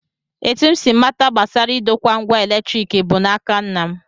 Etu m si mata gbasara idokwa ngwa eletrik bụ n'aka nna m